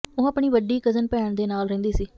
ਉਹ ਆਪਣੀ ਵੱਡੀ ਕਜ਼ਨ ਭੈਣ ਦੇ ਨਾਲ ਰਹਿੰਦੀ ਸੀ